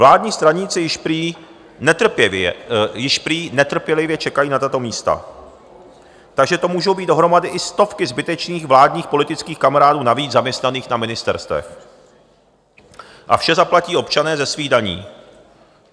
Vládní straníci již prý netrpělivě čekají na tato místa, takže to mohou být dohromady i stovky zbytečných vládních politických kamarádů navíc zaměstnaných na ministerstvech a vše zaplatí občané ze svých daní.